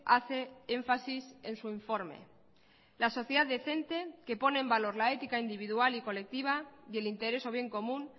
hace énfasis en su informe la sociedad decente que pone en valor la ética individual y colectiva y el interés o bien común